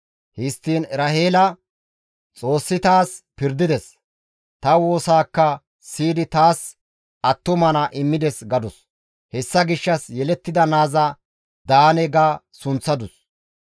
Histtiin Eraheela, «Xoossi taas pirdides; ta woosaakka siyidi taas attuma naa immides» gadus; hessa gishshas yelettida naaza, «Daane» ga sunththadus.